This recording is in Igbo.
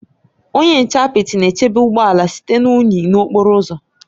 Onye nche apịtị na-echebe ụgbọ ala site na unyi n'okporo ụzọ.